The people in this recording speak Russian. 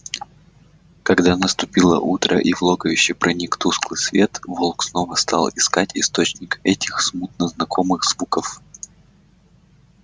когда наступило утро и в логовище проник тусклый свет волк снова стал искать источник этих смутно знакомых звуков